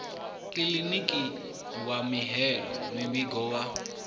kiḽiniki wa mihaelo muvhigo wa